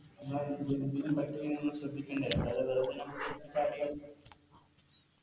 നമ്മളെ നമ്മള് ശ്രദ്ധിക്കണ്ടേ അല്ലാതെ വെറുതെ ഞമ്മള് Course start